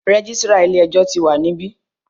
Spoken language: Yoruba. Registrar ilé ẹjọ́ tí wa níbí.